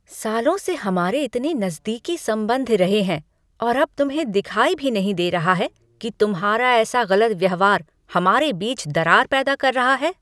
सालों से हमारे इतने नज़दीकी संबंध रहे हैं और अब तुम्हें दिखाई भी नहीं दे रहा है कि तुम्हारा ऐसा गलत व्यवहार हमारे बीच दरार पैदा कर रहा है?